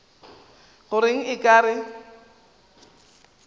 go reng o ka re